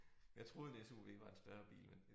Jeg troede en SUV var en større bil men